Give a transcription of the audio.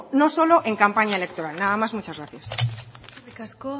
no solo en campaña electoral nada más muchas gracias eskerrik asko